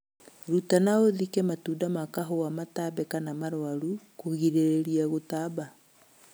Ruta na ũthũkie matunda ma kahũa matambe kama marwaru kũgirĩria gũtamba